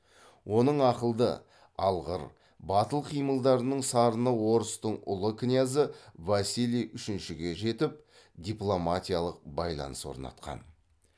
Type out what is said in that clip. оның ақылды алғыр батыл қимылдарының сарыны орыстың ұлы князі василий үшіншіге де жетіп дипломатиялық байланыс орнатқан